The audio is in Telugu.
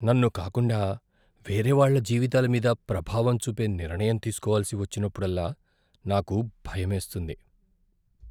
నన్ను కాకుండా వేరేవాళ్ళ జీవితాల మీద ప్రభావం చూపే నిర్ణయం తీసుకోవలసి వచ్చినప్పుడల్లా నాకు భయమేస్తుంది .